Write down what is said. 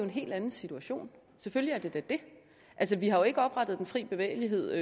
en hel anden situation selvfølgelig er det da det altså vi har jo ikke oprettet den fri bevægelighed